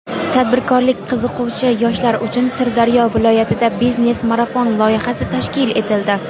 Tadbirkorlikka qiziquvchi yoshlar uchun Sirdaryo viloyatida "Biznes marafon" loyihasi tashkil etildi;.